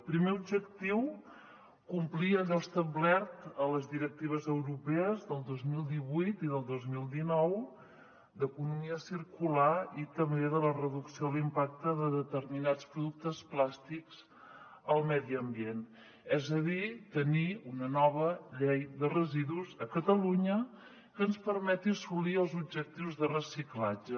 primer objectiu complir allò establert a les directives europees del dos mil divuit i del dos mil dinou d’economia circular i també de la reducció de l’impacte de determinats productes plàstics al medi ambient és a dir tenir una nova llei de residus a catalunya que ens permeti assolir els objectius de reciclatge